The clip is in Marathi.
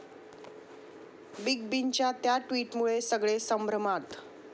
बिग बींच्या 'त्या' ट्विटमुळे सगळे संभ्रमात!